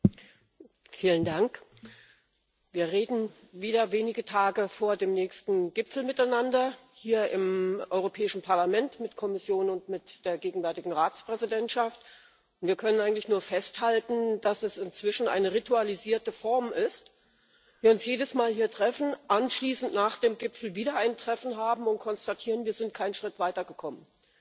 Herr Präsident! Wir reden hier im Europäischen Parlament wieder wenige Tage vor dem nächsten Gipfel miteinander, mit der Kommission und mit der gegenwärtigen Ratspräsidentschaft. Wir können eigentlich nur festhalten, dass es inzwischen eine ritualisierte Form ist, wir uns jedes Mal hier treffen, anschließend nach dem Gipfel wieder ein Treffen haben und konstatieren Wir sind keinen Schritt weitergekommen!